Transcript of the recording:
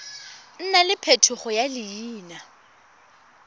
nna le phetogo ya leina